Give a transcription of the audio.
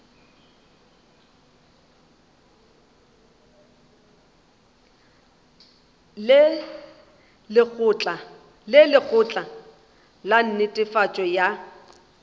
le lekgotla la netefatšo ya